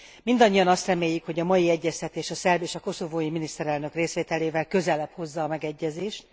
Mindannyian azt reméljük, hogy a mai egyeztetés a szerb és a koszovói miniszterelnök részvételével közelebb hozza a megegyezést.